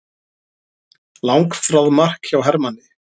Langþráð mark hjá Hermanni